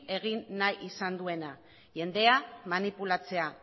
egin nahi izan duena jendea manipulatzea